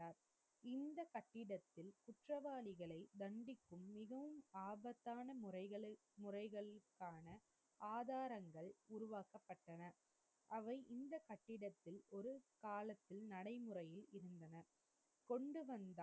குற்றவாளிகளை தண்டிக்கும் மிகவும் ஆபத்தான முறைகள், முறைகள்க்கான ஆதாரங்கள் உருவாக்கப்பட்டன. அவை இந்த கட்டிடத்தில் ஒரு காலத்தில் நடைமுறையில் இருந்தன. கொண்டு வந்தால்,